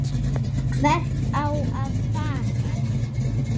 Hvert á að fara?